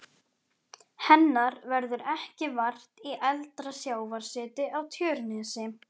Hennar verður ekki vart í eldra sjávarseti á Tjörnesi.